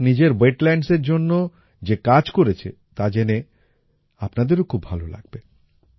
ভারত নিজের ওয়েটল্যান্ডস এর জন্য যে কাজ করেছে তা জেনে আপনাদেরও খুব ভালো লাগবে